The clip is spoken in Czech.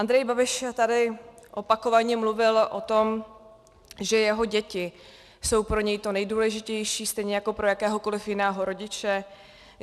Andrej Babiš tady opakovaně mluvil o tom, že jeho děti jsou pro něj to nejdůležitější stejně jako pro jakéhokoliv jiného rodiče.